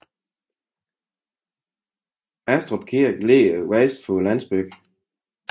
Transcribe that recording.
Ajstrup Kirke ligger vest for landsbyen